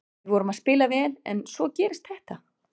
Við vorum að spila vel en svo gerist þetta.